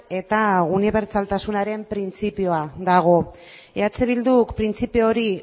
eta unibertsaltasunaren printzipioa dago eh bilduk printzipio hori